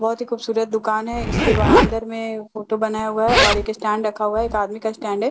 बहुत ही खूबसूरत दुकान है इसके ब अंदर में फोटो बनाया हुआ है और एक स्टैंड रखा हुआ है एक आदमी का स्टैंड है जिसको--